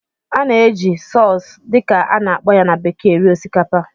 A na-eji "sauce" dị ka a na-akpọ ya na bekee eri osikapa